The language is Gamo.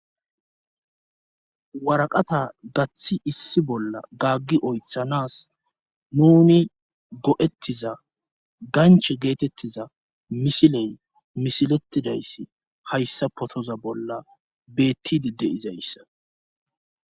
Waraqata gaththi issi bolla gaggi oyththanas nuni go'ettiza ganchche geetettiza misiley misiletidayssi hayssa pottoza bolla beettidi de'izayssa